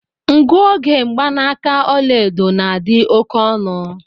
Nguoge mgbanaaka ọla edo na adị oke ọnụ.